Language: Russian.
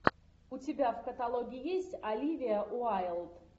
у тебя в каталоге есть оливия уайлд